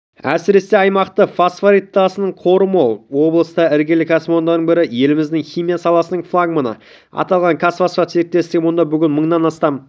әсіресе аймақта фосфорит тасының қоры мол облыста іргелі кәсіпорындардың бірі еліміздің химия саласының флагманы аталған казфосфат серіктесігі мұнда бүгінде мыңнан астам